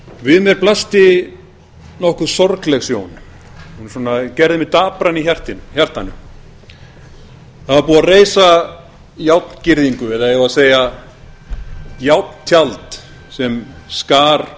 við mér blasti nokkuð sorgleg sjón gerði mig dapran í hjartanu það var búið að reisa járngirðingu eða eigum við að segja járntjald sem skar